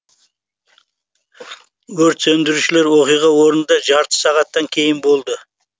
өрт сөндірушілер оқиға орнында жарты сағаттан кейін болды